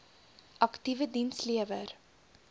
aktiewe diens lewer